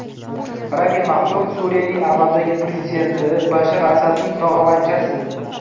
Rami Maxluf Suriyaning amaldagi prezidenti Bashar Asadning tog‘avachchasi.